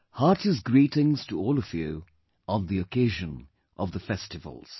Heartiest greetings to all of you on the occasion of the festivals